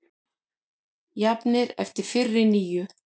Jafnir eftir fyrri níu